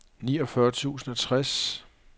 niogfyrre tusind og tres